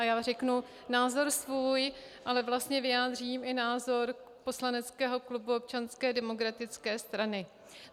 A já řeknu názor svůj, ale vlastně vyjádřím i názor poslaneckého klubu Občanské demokratické strany.